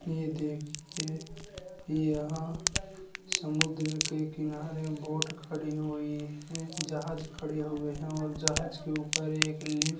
यह देखिए यहाँ समुन्द्र के किनारे बोट खड़ी हुई है । जहाज खड़े हुए हैं और जहाज के ऊपर एक लिफ्--